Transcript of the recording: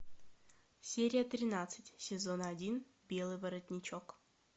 серия тринадцать сезон один белый воротничок